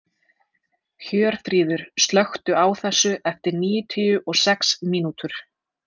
Hjörfríður, slökktu á þessu eftir níutíu og sex mínútur.